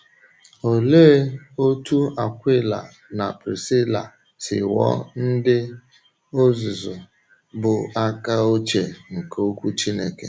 Ólee otú Akwịla na Prisíla si ghọọ ndị ọ̀zụ̀zụ bụ́ àka ochie nke Ọ̀kwú Chí́nèke?